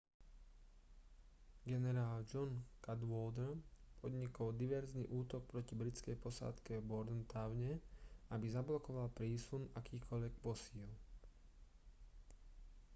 generál john cadwalder podnikol diverzný útok proti britskej posádke v bordentowne aby zablokoval prísun akýchkoľvek posíl